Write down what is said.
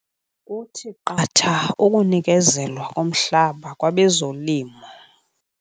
Kuthi qatha ukunikezelwa komhlaba kwabezolimo.